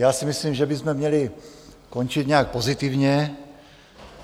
Já si myslím, že bychom měli končit nějak pozitivně.